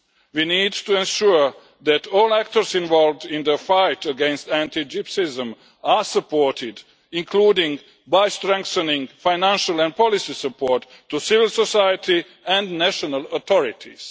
We need to ensure that all actors involved in the fight against anti Gypsyism are supported, including by strengthening financial and policy support to civil society and national authorities.